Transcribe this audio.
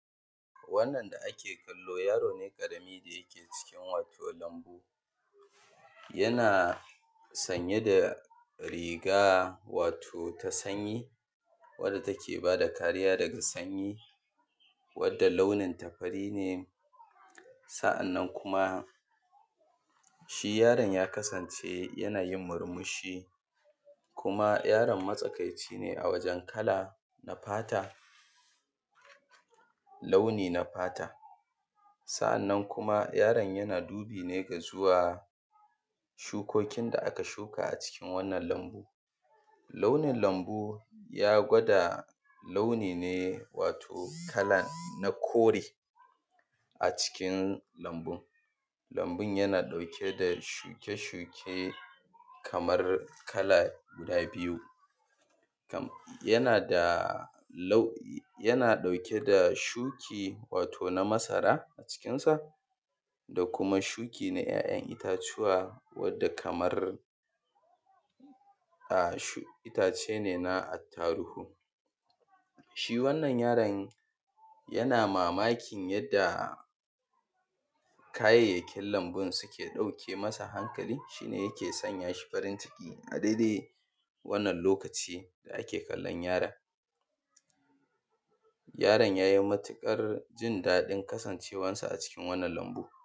wannan da ake kallo yaro ne ƙarami ke cikin wato lambu yana sanye da riga wato ta sanyi wanda take bada kariya daga sanyi wanda launin ta fari ne sa’annan kuma shi yaron ya kasance yana yin murmushi kuma yaron matsakaici ne a wajen kala na fata launi na fata sa’annan yaron yana dubi ga zuwa shukokin da aka shuka cikin wannan lambu launin lambu ya gwada launi ne wato kala na kore a cikin lambun lambun yana ɗauke da shuke-shuke kamar kala guda biyu yana da yana ɗauke da shuki wato na masara a cikin sa da kuma shuki na ‘ya’yan itacuwa wanda kamar itace na attaruhu shi wannan yaron yana mamakin yanda kayayyakin lambun suke ɗauke masa hankali shi ne yake sanya shi farin ciki a daidai wannan lokaci da ake kallon yaron yaron yayi matuƙar jin daɗin kasancewar sa a ciki